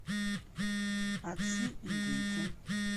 отцы и дети